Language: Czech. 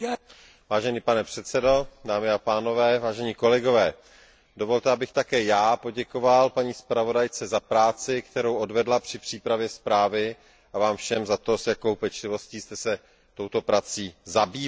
Vážený pane předsedo, vážení kolegové, dovolte, abych také já poděkoval paní zpravodajce za práci, kterou odvedla při přípravě zprávy, a vám všem za to, s jakou pečlivostí jste se touto prací zabývali.